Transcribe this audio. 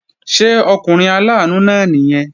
Ṣé ọkùnrin aláàánú náà nìyẹn?